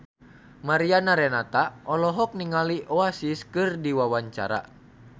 Mariana Renata olohok ningali Oasis keur diwawancara